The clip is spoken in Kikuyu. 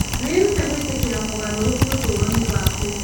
Wĩrute gwĩtĩkĩra mogarũrũku ũtũũro-inĩ waku.